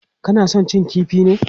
Kana son cin kifi ne?